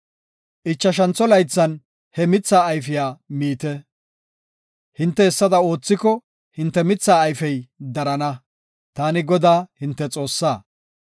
Ichashantho laythan he mithaa ayfiya miite. Hinte hessada oothiko, hinte mithaa ayfey darana. Taani Godaa, hinte Xoossaa.